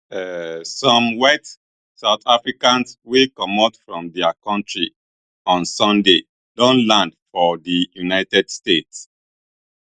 um some white south africans wey comot from dia kontri on sunday don land for di united states